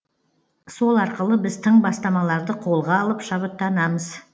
сол арқылы біз тың бастамаларды қолға алып шабыттанамыз